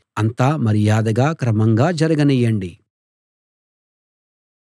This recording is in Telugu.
అంతా మర్యాదగా క్రమంగా జరగనీయండి